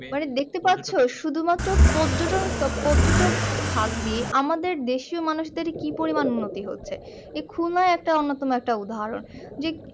শুধু মাত্র পর্যটন পর্যটক হাত দিয়ে আমাদের দেশিও মানুষদের কি উন্নতি হচ্ছে এই খুলনা একটা উন্নতম একটা উদাহরণ যে